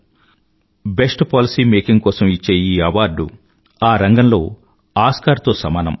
ఈ రంగంలో best policy making కోసం ఇచ్చే ఈ అవార్డ్ ఆ రంగంలో ఆస్కార్ తో సమానం